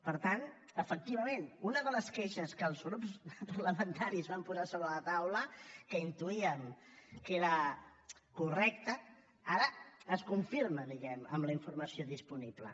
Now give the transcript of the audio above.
per tant efectivament una de les queixes que els grups parlamentaris van posar sobre la taula que intuíem que era correcta ara es confirma diguem ne amb la informació disponible